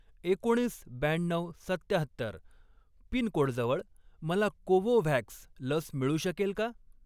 एकोणीस, ब्याण्णऊ, सत्त्याहत्तर पिनकोडजवळ मला कोवोव्हॅक्स लस मिळू शकेल का?